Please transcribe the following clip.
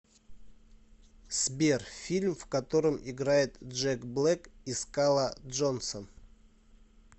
сбер фильм в котором играет джек блэк и скала джонсон